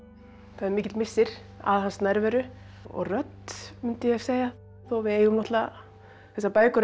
það er mikill missir af hans nærveru og rödd mundi ég segja þó við eigum náttúrulega þessar bækur